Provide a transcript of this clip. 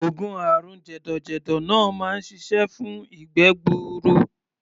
Oògùn àrùn jẹ̀dọ̀jẹ̀dọ̀ náà máa ń ṣiṣẹ́ fún ìgbẹ́ gbuuru.